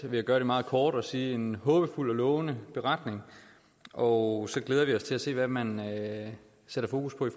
vil gøre det meget kort og sige i en håbefuld og lovende beretning og så glæder vi os til at se hvad man sætter fokus på i